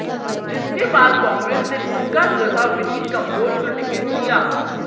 जिसके बाद कांग्रेस ने उनका जगह विनित कंबोज को टिकट दिया